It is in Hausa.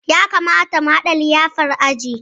Ya kamata mu haɗa liyafar aji